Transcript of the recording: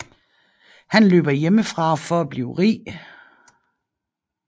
Han løber hjemmefra for at blive rig